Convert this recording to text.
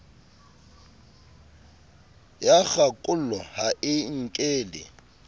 ya kgakollo ha e nkele